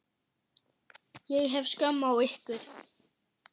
Ég hef skömm á ykkur.